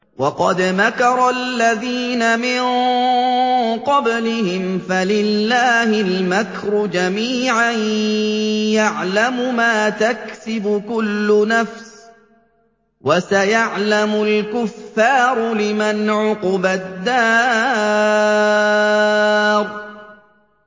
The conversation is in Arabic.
وَقَدْ مَكَرَ الَّذِينَ مِن قَبْلِهِمْ فَلِلَّهِ الْمَكْرُ جَمِيعًا ۖ يَعْلَمُ مَا تَكْسِبُ كُلُّ نَفْسٍ ۗ وَسَيَعْلَمُ الْكُفَّارُ لِمَنْ عُقْبَى الدَّارِ